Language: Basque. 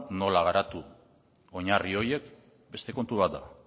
nola garatu oinarri horiek beste kontu bat da